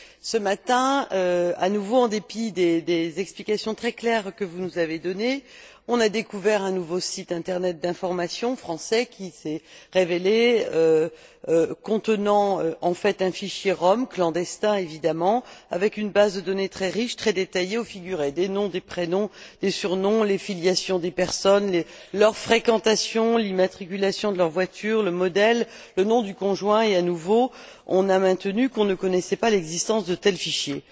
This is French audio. Ce matin, à nouveau en dépit des explications très claires que vous nous avez données, on a découvert un nouveau site Internet d'information français qui s'est révélé contenant en fait un fichier rom, clandestin évidemment, avec une base de données très riche, très détaillée où figuraient des noms, des prénoms, des surnoms, les filiations des personnes, leurs fréquentations, l'immatriculation et le modèle de leur voiture, le nom du conjoint, et à nouveau, on a maintenu qu'on ne connaissait pas l'existence de tels fichiers.